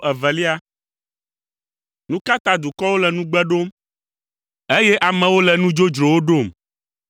Nu ka ta dukɔwo le nugbe ɖom, eye amewo le nu dzodzrowo ɖom?